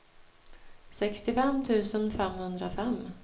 sextiofem tusen femhundrafem